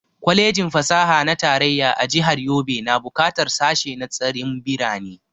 Kwalejin fasaha na tarayya a jihar Yobe na buƙatar sashe na tsarin birane